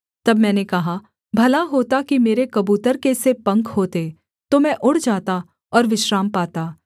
तब मैंने कहा भला होता कि मेरे कबूतर के से पंख होते तो मैं उड़ जाता और विश्राम पाता